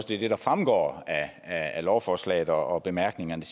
det er det der fremgår af lovforslaget og bemærkningerne